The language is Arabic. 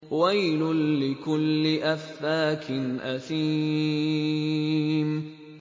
وَيْلٌ لِّكُلِّ أَفَّاكٍ أَثِيمٍ